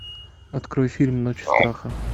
открой фильм ночь страха